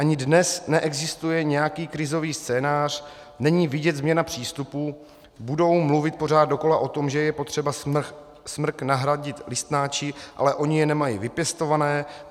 Ani dnes neexistuje nějaký krizový scénář, není vidět změna přístupů, budou mluvit pořád dokola o tom, že je potřeba smrk nahradit listnáči, ale oni je nemají vypěstované.